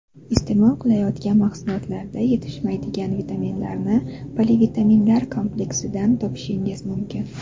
Iste’mol qilinayotgan mahsulotlarda yetishmaydigan vitaminlarni polivitaminlar kompleksidan topishingiz mumkin.